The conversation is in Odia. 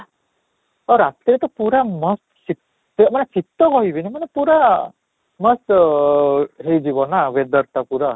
ରାତିରେ ତ ପୁରା ମସ୍ତ ଶୀତ ମାନେ ଶୀତ କହିବିନି ମାନେ ପୁରା ମସ୍ତ ଅଃ ହେଇଯିବ ନା weather ଟା ପୁରା